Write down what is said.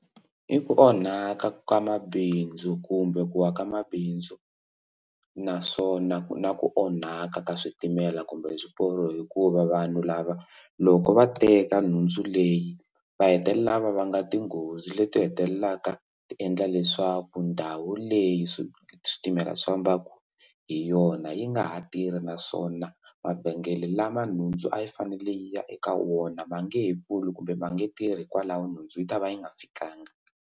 I ku onhaka ka mabindzu kumbe ku aka mabindzu naswona ku na ku onhaka ka switimela kumbe swiporo hikuva vanhu lava loko va teka nhundzu leyi va hetelela va va nga tinghozi leti hetelelaka tiendla leswaku ndhawu leyi swi switimela swi fambaka hi yona yi nga ha tirhi naswona mavhengele lama nhundzu a yi fanele yi ya eka wona ma nge he pfuli kumbe va nge tirhi kwalaho nhundzu yi ta va yi nga fikanga.